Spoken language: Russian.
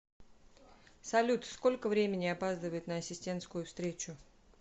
салют сколько времени опаздывает на ассистентскую встречу